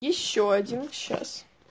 ещё один час